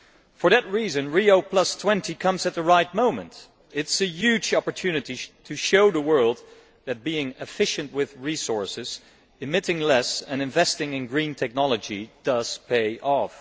For that reason, Rio20 comes at the right moment. It is a huge opportunity to show the world that being efficient with resources, emitting less and investing in green technology does pay off.